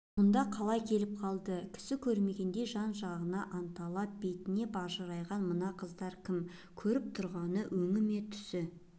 мұнда қалай келіп қалды кісі көрмегендей жан-жағынан анталап бетіне бажырайған мына қыздар кім көріп тұрғаны өңі ме түсі